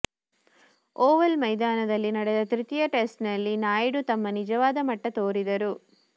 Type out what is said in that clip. Oval ಮೈದಾನದಲ್ಲಿ ನಡೆದ ತೃತೀಯ ಟೆಸ್ಟ್ನಲ್ಲಿ ನಾಯುಡು ತಮ್ಮ ನಿಜವಾದ ಮಟ್ಟ ತೋರಿದರು